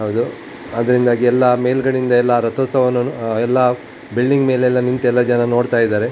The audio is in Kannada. ಹೌದು ಅದರಿಂದಾಗಿ ಎಲ್ಲ ಮೇಲ್ಗಡೆ ಇಂದ ಎಲ್ಲ ರತೋತ್ಸವ ವನ್ನು ಎಲ್ಲ ಬಿಲ್ಡಿಂಗ್ ಮೇಲೆ ಎಲ್ಲ ನಿಂತು ಜನ ನೋಡ್ತಾ ಇದ್ದಾರೆ .